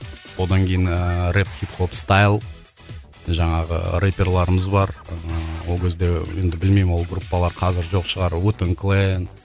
одан кейін ыыы рэп хип хоп стаил жаңағы рэпперларымыз бар ыыы ол кезде енді білмеймін ол группалар қазір жоқ шығар уетэн клейм